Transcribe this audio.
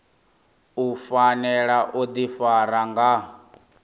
u fanela u ḓifara nga